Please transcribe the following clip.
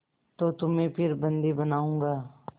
तो तुम्हें फिर बंदी बनाऊँगा